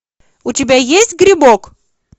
у тебя есть грибок